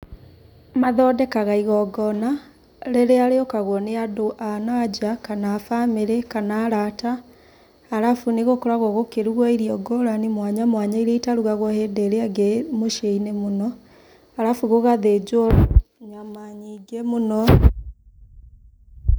Mathondekaga igongona, rĩrĩa rĩũkaguo nĩ andũ a nanja kana a bamĩrĩ kana arata, arabu nĩ gũkoragwo gũkĩruguo irio ngũrani mwanyamwanya iria itarugagwo hĩndĩ ĩrĩa ĩngĩ mũciĩinĩ mũno, arabu gũgathinjuo nyama nyingĩ mũno.